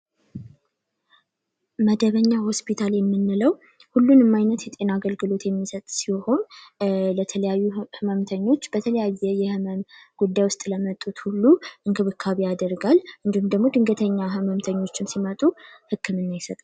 መደበኛ ሆስፒታል የምንለው ሁሉን የማይነት የጤና አገልግሎት የሚሰጥ ሲሆን ለተለያዩ ህመምተኞች በተለያየ የህመም ጉዳይ ውስጥ ለመጡት ሁሉ እንክብካቢ አደርጋል እንዲሁም ደግሞ ድንገተኛ ህመምተኞችን ሲመጡ ህክምና ይሰጣል።